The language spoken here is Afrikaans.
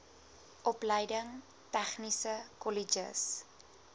opleiding tegniese kolleges